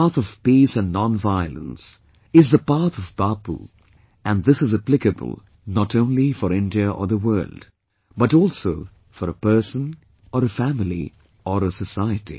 The path of peace and nonviolence, is the path of Bapu and this is applicable not only for India or the world, but also for a person or a family or a society